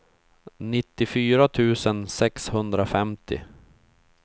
nittiofyra tusen sexhundrafemtio